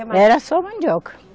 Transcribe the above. Era só mandioca.